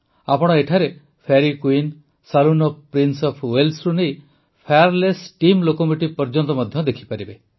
ଆପଣ ଏଠାରେ Fairy Queen saloon of Prince of Walesରୁ ନେଇ ଫାୟାରଲେସ୍ ଷ୍ଟିମ୍ ଲୋକୋମୋଟିଭ୍ ପର୍ଯ୍ୟନ୍ତ ମଧ୍ୟ ଦେଖିପାରିବେ